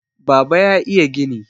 baba ya iya gini!